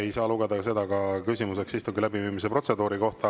Ei saa lugeda ka seda küsimuseks istungi läbiviimise protseduuri kohta.